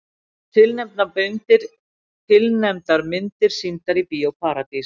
Tilnefndar myndir sýndar í Bíó Paradís